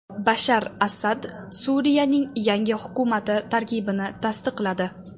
Bashar Asad Suriyaning yangi hukumati tarkibini tasdiqladi.